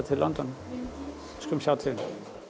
til London við skulum sjá til